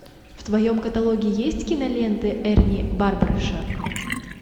в твоем каталоге есть киноленты эрни барбараша